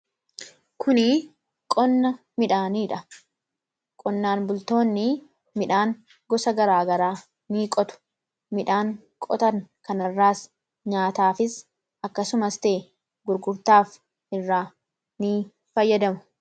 Kun qonna midhaaniidha. Qonnaan bultoonni midhaan gosa gara garaa ni qotu. Midhaan qotan kanas nyaataafis ta'e akkasumas gurgurtaaf irraa ni fayyadamu.